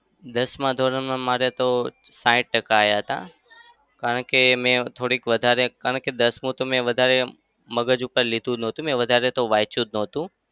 દસમાં ધોરણમાં મારે તો સાઈઠ ટકા આવ્યા હતા. કારણ કે મેં થોડીક વધારે કારણ કે દસમું તો મેં વધારે મગજ ઉપર લીધું નતું. મેં વધારે તો વાંચ્યું જ નતું.